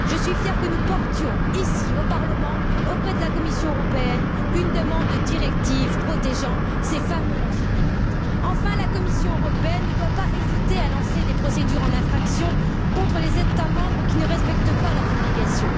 Je suis fière que nous adressions, ici au Parlement, à la Commission européenne une demande de directive protégeant ces fameux lanceurs d'alerte. La Commission européenne ne doit pas hésiter à lancer des procédures en infraction contre les États membres qui ne respectent pas leurs obligations.